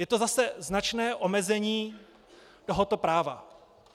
Je to zase značné omezení tohoto práva.